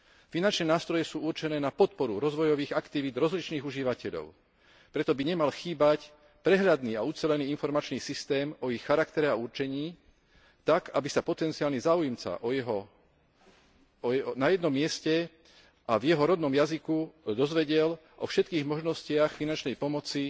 Finančné nástroje sú určené na podporu rozvojových aktivít rozličných užívateľov, preto by nemal chýbať prehľadný a ucelený informačný systém o ich charaktere a určení tak, aby sa potenciálny záujemca na jednom mieste a v jeho rodnom jazyku dozvedel o všetkých možnostiach finančnej pomoci